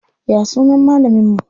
Ya sunan malamin mu?